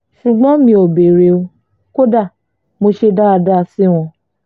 ṣùgbọ́n n ò béèrè o kódà mo ṣe dáadáa sí wọn